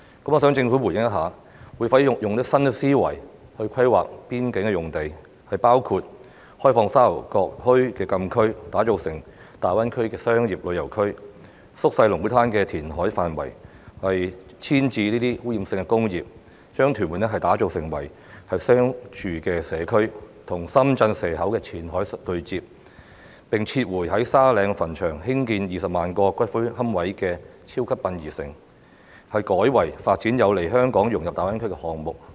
我想政府回應一下，會否用新思維規劃邊境用地，包括開放沙頭角墟的禁區，打造成大灣區的商業旅遊區；縮小龍鼓灘的填海範圍，遷移這些污染性工業，將屯門打造成為商住社區，與深圳蛇口的前海對接；並撤回在沙嶺墳場興建20萬個骨灰龕位的超級殯儀城，改為發展有利香港融入大灣區的項目？